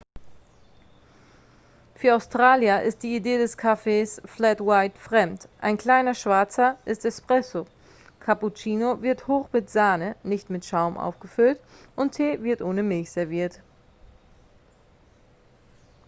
"für australier ist die idee des kaffees "flat white" fremd. ein kleiner schwarzer ist "espresso" cappuccino wird hoch mit sahne nicht mit schaum aufgefüllt und tee wird ohne milch serviert.